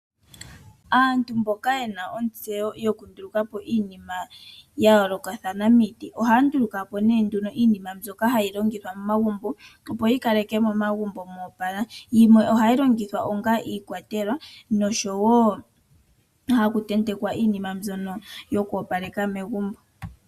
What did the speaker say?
Aantu mboka yena ontseyo yokundulaka po iinima ya yoolokathana miiti, ohaya nduluka po nee nduno iinima mbyoka hayi longithwa momagumbo, opo yi ka leke momagumbo moopala, yimwe ohayi longithwa onga iikwatelwa nosho wo haku tentekwa iinima mbyono yoku opaleka megumbo.